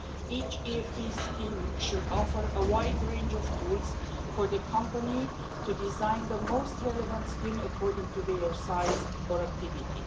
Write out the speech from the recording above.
Each EFP scheme should offer a wide range of tools for the company to design the most relevant scheme according to their size or activity.